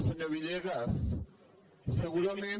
senyor villegas segurament